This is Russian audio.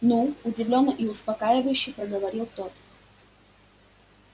ну удивлённо и успокаивающе проговорил тот